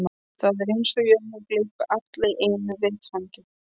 Það er eins og jörðin gleypi alla í einu vetfangi.